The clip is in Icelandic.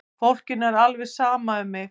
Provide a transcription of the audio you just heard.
Fólkinu er alveg sama um mig!